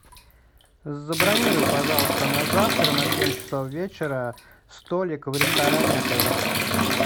забронируй пожалуйста на завтра на семь часов вечера столик в ресторане отеля